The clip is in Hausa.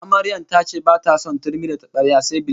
Amaryar ta ce bata son turmi da tabarya sai bilenda